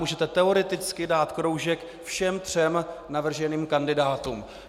Můžete teoreticky dát kroužek všem třem navrženým kandidátům.